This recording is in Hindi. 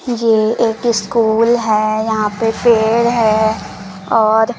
ये एक स्कूल है यहां पे पेड़ है और--